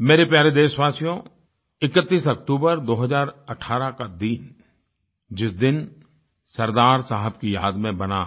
मेरे प्यारे देशवासियो 31 अक्तूबर 2018 का दिन जिस दिन सरदार साहब की याद में बना